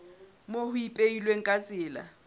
moo ho ipehilweng ka tsela